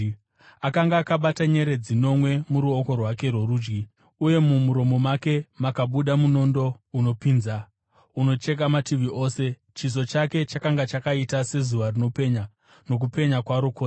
Akanga akabata nyeredzi nomwe muruoko rwake rworudyi, uye mumuromo make makabuda munondo unopinza, unocheka mativi ose. Chiso chake chakanga chakaita sezuva rinopenya nokupenya kwaro kwose.